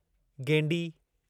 गेंडी